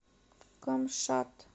камшат